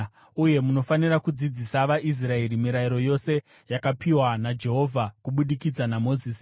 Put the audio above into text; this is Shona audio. Uye munofanira kudzidzisa vaIsraeri mirayiro yose yavakapiwa naJehovha kubudikidza naMozisi.”